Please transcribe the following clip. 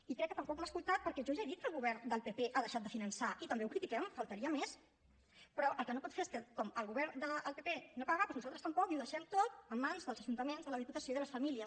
i crec que tampoc m’ha escoltat perquè jo ja he dit que el govern del pp ha deixat de finançar i també ho critiquem només faltaria però el que no pot fer és que com el govern del pp no paga doncs nosaltres tampoc i ho deixem tot en mans dels ajuntaments de la diputació i de les famílies